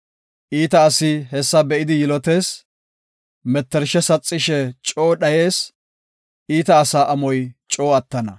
Iita asi hessa be7idi yilotees; mettershe saxishe coo dhayees; iita asa amoy coo attana.